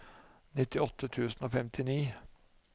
nittiåtte tusen og femtini